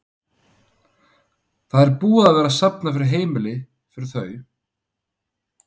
Það er búið að vera safna fyrir heimili fyrir þau?